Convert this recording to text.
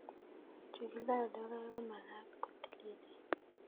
Che kiloe logoek ko mag'at ko tililen